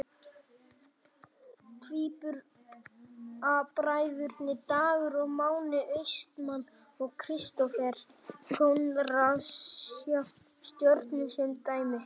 Tvíburabræðurnir Dagur og Máni Austmann og Kristófer Konráðsson hjá Stjörnunni sem dæmi.